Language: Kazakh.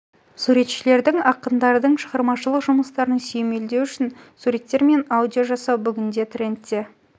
суретшілердің ақындардың шығармашылық жұмыстарын сүйемелдеу үшін суреттер мен аудио жасау бүгінде трендте